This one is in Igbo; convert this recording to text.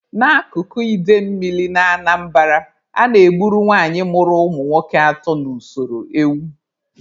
N'akụkụ idemmili na Anambara, a na-egburu nwanyị mụrụ ụmụ nwoke atọ na usoro ewu.